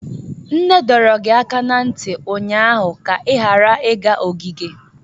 Nne dọrọ gị aka ná ntị ụnyaahụ ka ị ghara ịga ogige!